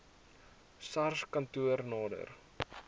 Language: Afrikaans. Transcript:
sars kantoor nader